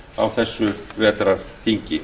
á þessu vetrarþingi